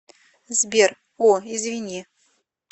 сбер о извини